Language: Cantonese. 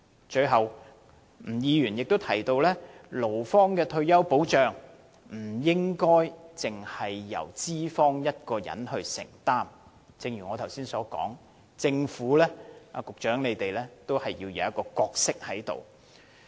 最後，吳議員也提到，勞方的退休保障不應該只由資方承擔，正如我剛才所說，政府和局長在當中要擔當一定的角色。